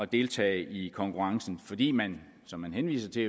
deltage i konkurrencen fordi man som man henviser til